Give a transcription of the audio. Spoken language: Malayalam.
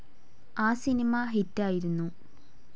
ആ സിനിമ ഹിറ്റ്‌ ആയിരുന്നു.